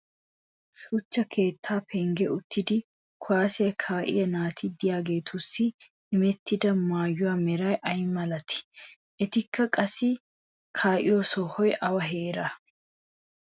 issi shuchcha keettaa penggen uttidi kuwaassiya kaa'iya naati diyaageetussi immetidda maayuwa meray ay malatii? etikka qassi kaa'iyo sohoy awa heeraanee?